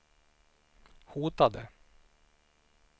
hotade